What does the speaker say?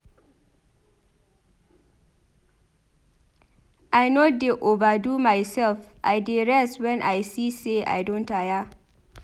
I no dey over-do mysef I dey rest wen I see sey I don tire.